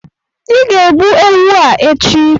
ị ga egbu ewu a echi!